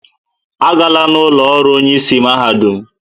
Agala n'ụlọ ọrụ onyeisi mahadum!